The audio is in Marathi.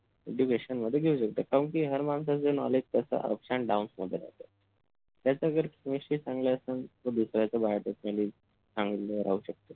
education मध्ये घेऊ शकता कारण कि हर माणसाचं knowledge कस ups AND DOWNS मध्ये राहत त्याचा जर chemistry चांगला असेल तर दुसऱ्याच BIOTECHNOLOGY चांगलं राहू शकत